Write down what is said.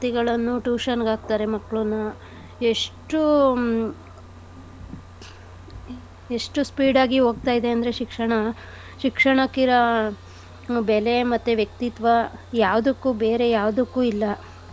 Tuition ಗೆ ಹಾಕ್ತಾರೆ ಮಕ್ಳನ್ನು ಎಷ್ಟು ಹ್ಮ್ ಎಷ್ಟು speed ಆಗಿ ಹೋಗ್ತಾ ಇದೆ ಅಂದ್ರೆ ಶಿಕ್ಷಣ ಶಿಕ್ಷಣಕ್ ಇರ ಬೆಲೆ ಮತ್ತೆ ವ್ಯಕ್ತಿತ್ವ ಯಾವ್ದಕ್ಕು ಬೇರೆ ಯಾವ್ದಕ್ಕು ಇಲ್ಲ.